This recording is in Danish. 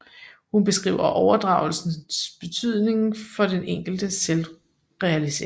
Hun beskriver opdragelsens betydning for den enkeltes selvrealisering